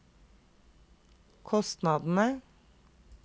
kostnadene